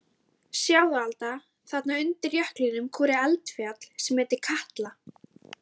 Sjáðu Alda, þarna undir jöklinum kúrir eldfjall sem heitir Katla.